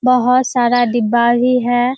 बहुत सारा डिब्बा ही है।